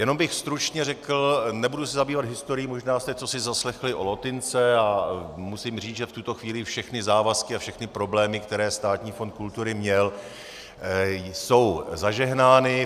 Jenom bych stručně řekl, nebudu se zabývat historií, možná jste cosi zaslechli o Lotynce a musím říci, že v tuto chvíli všechny závazky a všechny problémy, které Státní fond kultury měl, jsou zažehnány.